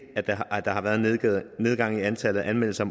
at der har været en nedgang i antallet af anmeldelser